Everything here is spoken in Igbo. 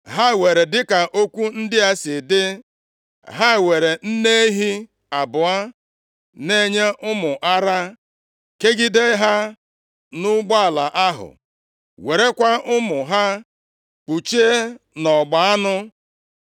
Ha were dịka okwu ndị a si dị. Ha weere nne ehi abụọ na-enye ụmụ ara kegide ha nʼụgbọala ahụ, werekwa ụmụ ha kpọchie nʼọgba anụ.